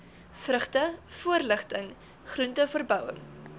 vrugte voorligting groenteverbouing